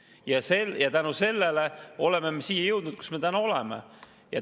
Ja selle tõttu me oleme jõudnud siia, kus me täna oleme.